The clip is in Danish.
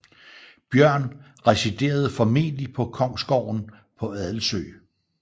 Björn residerede formentlig på kongsgården på Adelsö